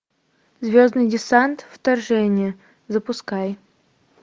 звездный десант вторжение запускай